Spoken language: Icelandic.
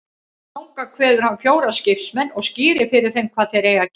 Þangað kveður hann fjóra skipsmenn og skýrir fyrir þeim hvað þeir eigi að gera.